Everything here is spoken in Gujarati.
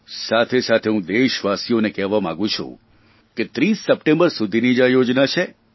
સાથેસાથે હું દેશવાસીઓને કહેવા માંગું છું કે 30 સપ્ટેમ્બર સુધીની જ આ યોજના છે